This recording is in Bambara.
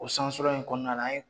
O sansɔrɔ in kɔnɔna na an ye